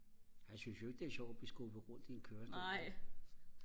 han synes jo ikke det er sjovt og blive skubbet rundt i en kørestol vel